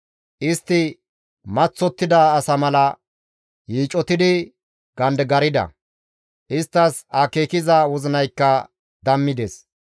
Istti maththottida asa mala yiicotidi gandigarda; isttas akeekiza wozinaykka dammides.